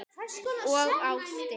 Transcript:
Og ástin.